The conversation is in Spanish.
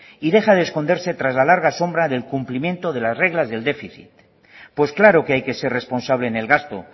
y deja de esconderse tras la larga sombra del cumplimiento de las reglas del déficit pues claro que hay que ser responsable en el gasto